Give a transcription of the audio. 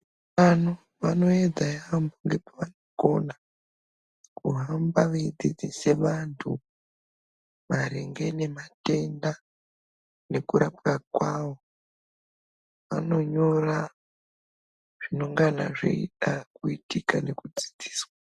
Tano vanoedza yaamho ngekuvakona kuhamba veidzidzise antu maringe ngematenda nekurapwa kwawo anonyora zvinengana zveida kuitika nekudzidziswa.